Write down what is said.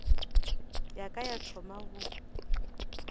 ya ka ya thoma go